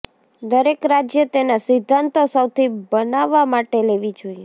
દરેક રાજ્ય તેના સિદ્ધાંતો સૌથી બનાવવા માટે લેવી જોઈએ